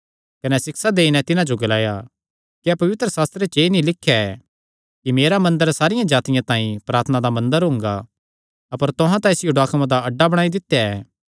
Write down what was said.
कने सिक्षा देई नैं तिन्हां जो ग्लाया क्या पवित्रशास्त्रे च एह़ नीं लिख्या ऐ कि मेरा मंदर सारियां जातिआं तांई प्रार्थना दा मंदर हुंगा अपर तुहां तां इसियो डाकुआं दा अड्डा बणाई दित्या ऐ